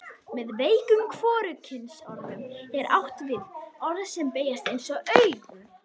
Með veikum hvorugkynsorðum er átt við orð sem beygjast eins og auga.